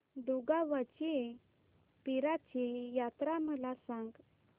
दुगावची पीराची यात्रा मला सांग